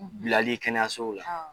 Bilali kɛnɛyasow la